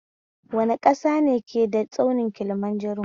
Wane ƙasa ne ke da tsaunin Kilimanjaro?